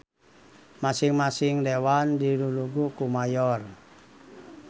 Masing-masing dewan dilulugu ku mayor.